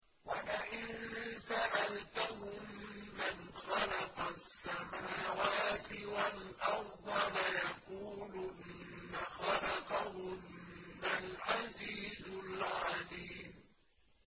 وَلَئِن سَأَلْتَهُم مَّنْ خَلَقَ السَّمَاوَاتِ وَالْأَرْضَ لَيَقُولُنَّ خَلَقَهُنَّ الْعَزِيزُ الْعَلِيمُ